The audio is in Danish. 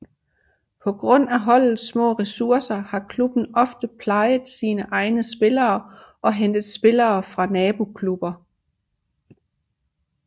På grund af holdets små ressourcer har klubben ofte plejet sine egne spillere og hentet spillere fra naboklubber